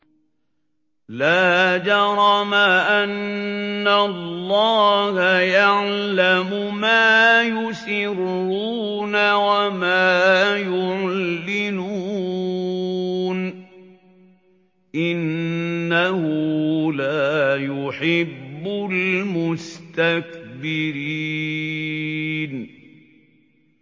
لَا جَرَمَ أَنَّ اللَّهَ يَعْلَمُ مَا يُسِرُّونَ وَمَا يُعْلِنُونَ ۚ إِنَّهُ لَا يُحِبُّ الْمُسْتَكْبِرِينَ